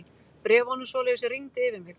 Bréfunum svoleiðis rigndi yfir mig.